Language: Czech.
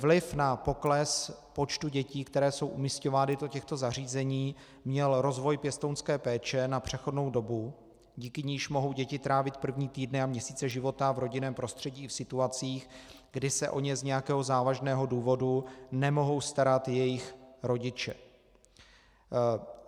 Vliv na pokles počtu dětí, které jsou umisťovány do těchto zařízení, měl rozvoj pěstounské péče na přechodnou dobu, díky níž mohou děti trávit první týdny a měsíce života v rodinném prostředí i v situacích, kdy se o ně z nějakého závažného důvodu nemohou starat jejich rodiče.